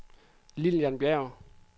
Lillian Bjerg